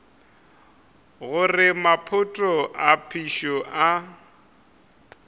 gore maphoto a phišo a